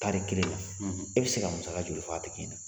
Tari kelen la , e bi se ka musaka joli fɔ a tigi ɲɛna ?